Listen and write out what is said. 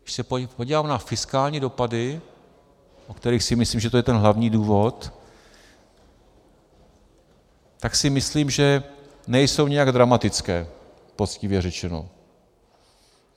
Když se podívám na fiskální dopady, o kterých si myslím, že to je ten hlavní důvod, tak si myslím, že nejsou nijak dramatické, poctivě řečeno.